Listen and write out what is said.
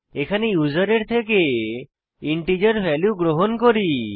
এখানে ইউসারের থেকে ইন্টিজার ভ্যালু গ্রহণ করি